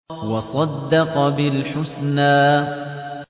وَصَدَّقَ بِالْحُسْنَىٰ